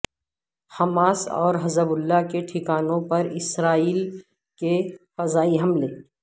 Hamas اور Hezbollah کے ٹھکانوں پر اسرائیل کے فضائی حملے